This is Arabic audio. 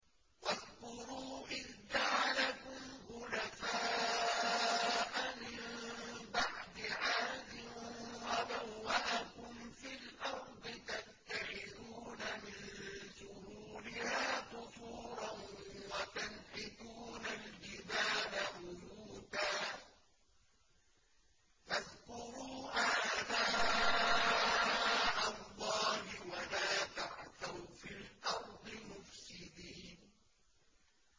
وَاذْكُرُوا إِذْ جَعَلَكُمْ خُلَفَاءَ مِن بَعْدِ عَادٍ وَبَوَّأَكُمْ فِي الْأَرْضِ تَتَّخِذُونَ مِن سُهُولِهَا قُصُورًا وَتَنْحِتُونَ الْجِبَالَ بُيُوتًا ۖ فَاذْكُرُوا آلَاءَ اللَّهِ وَلَا تَعْثَوْا فِي الْأَرْضِ مُفْسِدِينَ